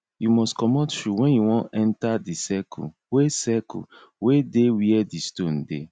you must comot shoe when you wan enter di circle wey circle wey dey where di stone dey